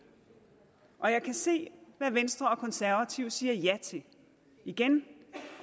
og jeg kan se hvad venstre og konservative siger ja til igen